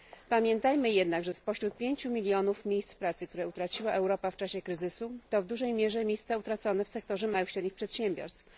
Pamiętajmy jednak, że spośród 5 mln miejsc pracy, które utraciła Europa w czasie kryzysu, to w dużej mierze miejsca utracone w sektorze małych i średnich przedsiębiorstw.